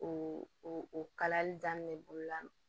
O o kalali daminɛ bolola